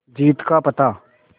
जीत का पता